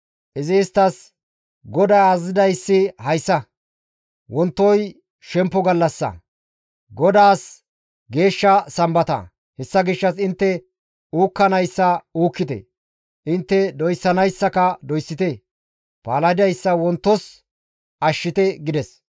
Izi isttas, «GODAY azazidayssi hayssa; wontoy shemppo gallassa, GODAAS geeshsha sambata. Hessa gishshas intte uukkanayssa uukkite; intte doyssanayssaka doyssite; palahidayssa wontos ashshite» gides.